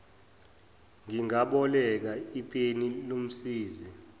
ngingaboleka ipeni lomsizi